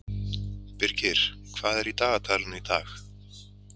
Birgir, hvað er í dagatalinu í dag?